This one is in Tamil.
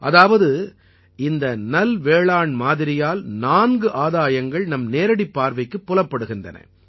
அதாவது இந்த நல்வேளாண்மாதிரியால் நான்கு ஆதாயங்கள் நம் நேரடிப் பார்வைக்குப் புலப்படுகின்றன